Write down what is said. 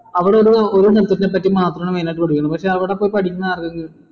അവിടെ ഒരു ഒരു പറ്റി മാത്രാണ് main ആയിട്ട് പഠിപ്പിക്കുന്നുള്ളു പക്ഷെ അവിടെ പോയി പഠിക്കണ ആളുകൾ